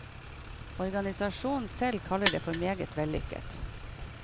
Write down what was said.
Organisasjonen selv kaller det for meget vellykket.